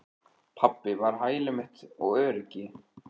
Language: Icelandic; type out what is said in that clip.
Pabbi var hæli mitt og öryggi.